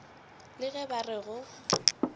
le ge ba re go